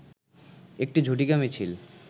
একটি ঝটিকা মিছিল